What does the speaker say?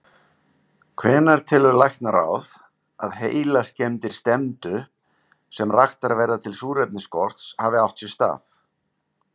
Hvenær telur læknaráð, að heilaskemmdir stefndu, sem raktar verða til súrefnisskorts, hafi átt sér stað?